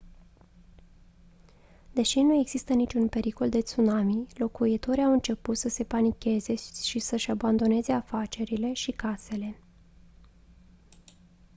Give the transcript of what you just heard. deși nu exista niciun pericol de tsunami locuitorii au început să se panicheze și să-și abandoneze afacerile și casele